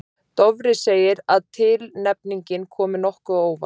Dofri segir að tilnefningin komi nokkuð á óvart.